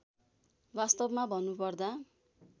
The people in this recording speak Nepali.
वास्तवमा भन्नुपर्दा